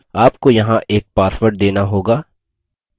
आपको यहाँ एक password देना होगा